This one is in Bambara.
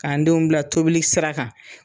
K'an denw bila tobili sira kan